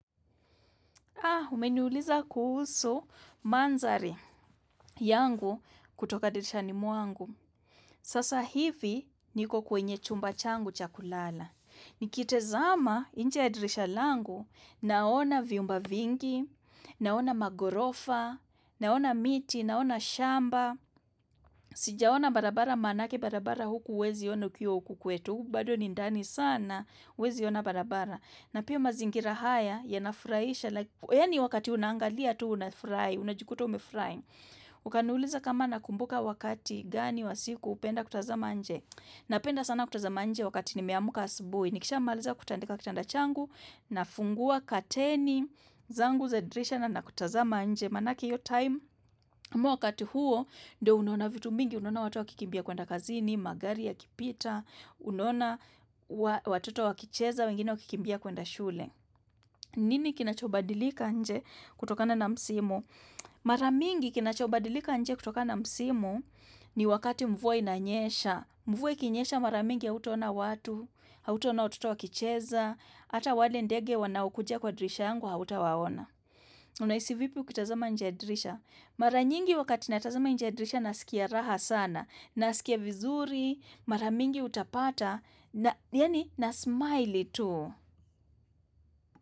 Ah, umeniuliza kuhusu manzari yangu kutoka dirishani mwangu. Sasa hivi niko kwenye chumba changu cha kulala. Nikitazama nje ya dirisha langu naona vyumba vingi, naona maghorofa, naona miti, naona shamba. Sijaona barabara manake barabara huku huwezi ona ukiuwa huku kwetu. Huku bado ni ndani sana, huwezi ona barabara. Na pia mazingira haya yanafurasha yani wakati unaangalia tu una furahi unajukuta umefurahi ukaniuliza kama nakumbuka wakati gani wa siku hupenda kutazama nje napenda sana kutazama nje wakati nimeamka asubuhi nikishamaaliza kutandika kitanda changu na fungua kateni zangu za dirisha nakutazama nje manake iyo time wakati huo ndio unona vitu mingi unona watu wakikimbia kuenda kazini magari yakipita unona watoto wakicheza wengine wakikimbia kuenda shule. Nini kinachobadilika nje kutokana na msimu? Mara mingi kinachobadilika nje kutokana na msimu ni wakati mvua inanyesha. Mvua ikinyesha mara mingi hautaona watu, hautaona watoto wa kicheza, hata wale ndege wanaokujia kwa dirisha yangu hautawaona. Unahisi vipi ukitazama nje ya dirisha? Mara nyingi wakati natazama nje ya dirisha nasikia raha sana, nasikia vizuri, mara mingi utapata na na smile tu.